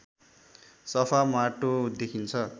सफा माटो देखिन्छ